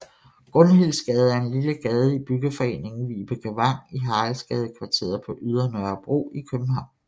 Gunhildsgade er en lille gade i byggeforeningen Vibekevang i Haraldsgadekvarteret på Ydre Nørrebro i København